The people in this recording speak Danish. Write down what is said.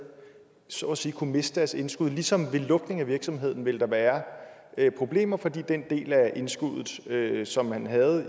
så at sige kunne miste deres indskud ligesom der ved lukningen af virksomheden ville være problemer fordi den del af indskuddet som man havde